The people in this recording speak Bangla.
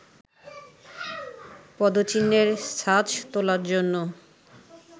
পদচিহ্ণের ছাঁচ তোলার জন্য